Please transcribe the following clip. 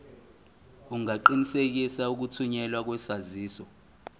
ungaqinisekisa ukuthunyelwa kwesaziso